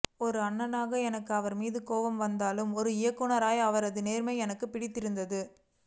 ஒரு அண்ணனாக எனக்கு அவன் மீது கோபம் வந்தாலும் ஒரு இயக்குநராக அவனது நேர்மை எனக்கு பிடித்திருந்தது